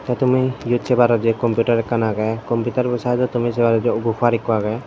tey tumi eyot separor jei computer ekkan aagey computerbo saidod tumi separor gopar ekko aagey.